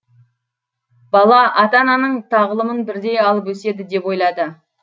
бала ата ананың тағылымын бірдей алып өседі деп ойлады